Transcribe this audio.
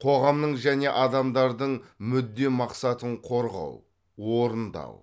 қоғамның және адамдардың мүдде мақсатын қорғау орындау